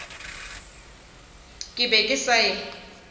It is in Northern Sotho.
ke be ke sa e